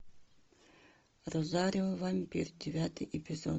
розарио вампир девятый эпизод